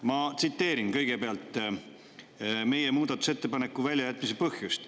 Ma tsiteerin kõigepealt meie muudatusettepanekute väljajätmise põhjust.